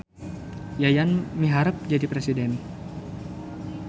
Yayan miharep jadi presiden